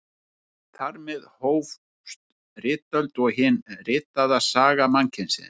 Þar með hófst ritöld og hin ritaða saga mannkyns.